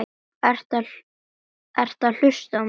Hver hefur það ekki?